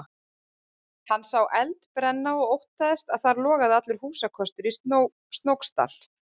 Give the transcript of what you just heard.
Hann sá eld brenna og óttaðist að þar logaði allur húsakostur í Snóksdal.